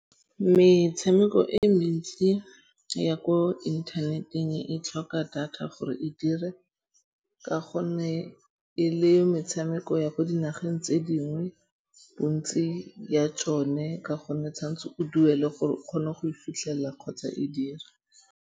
Metshameko e mentsi ya ko internet-eng e tlhoka data gore e dire ka gonne e le metshameko ya ko dinageng tse dingwe. Bontsi ya tsone ka gonne tshwan'tse o duele gore o kgone go e fitlhella kgotsa e dira.